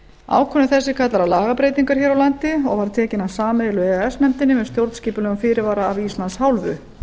ákvörðun þessi kallar á lagabreytingar hér á landi og var tekin af sameiginlegu e e s nefndinni með stjórnskipulegum fyrirvara af íslands hálfu